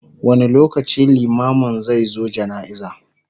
wani lokaci limamin zai zo jana'iza?